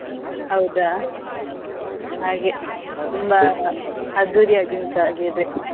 ಹೌದಾ ಹಾಗೆ, ಅದ್ದೂರಿ ಆಗಿ ಉಂಟು ಹಾಗಿದ್ರೆ?